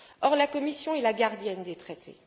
Or, la Commission est la gardienne des Traités.